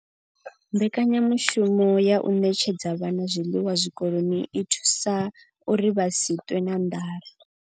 Mbekanyamushumo ya u ṋetshedza vhana zwiḽiwa zwikoloni i vha thusa uri vha si ṱwe na nḓala.